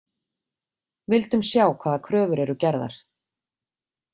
Vildum sjá hvaða kröfur eru gerðar